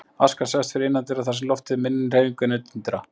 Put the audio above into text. Askan sest fyrr innandyra þar sem loftið er á minni hreyfingu en utandyra.